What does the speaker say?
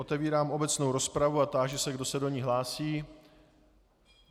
Otevírám obecnou rozpravu a táži se, kdo se do ní hlásí.